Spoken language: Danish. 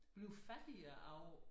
Bliver fattigere af